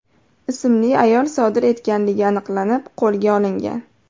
ismli ayol sodir etganligi aniqlanib, qo‘lga olingan.